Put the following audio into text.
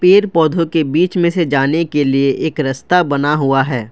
पेड़ पौधों के बीच में से जाने के लिए एक रस्ता बना हुआ है।